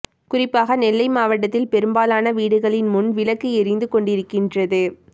குறிப்பாக நெல்லை மாவட்டத்தில் பெரும்பாலான வீடுகளின் முன் விளக்கு எரிந்து கொண்டிருக்கின்றது